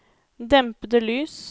dempede lys